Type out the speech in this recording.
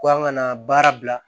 Ko an kana baara bila